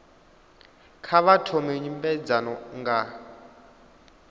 kha vha thome nymbedzano nga